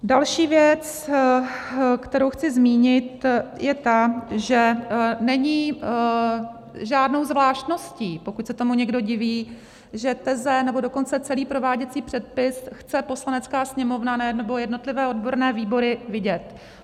Další věc, kterou chci zmínit, je ta, že není žádnou zvláštností, pokud se tomu někdo diví, že teze, nebo dokonce celý prováděcí předpis chce Poslanecká sněmovna nebo jednotlivé odborné výbory vidět.